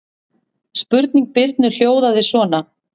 Spurning Birnu hljóðaði svona: